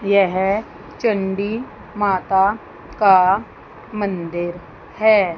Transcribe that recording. यह चंडी माता का मंदिर है।